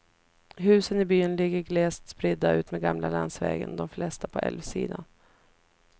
Husen i byn ligger glest spridda utmed gamla landsvägen, de flesta på älvsidan.